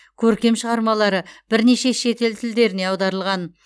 көркем шығармалары бірнеше шетел тілдеріне аударылған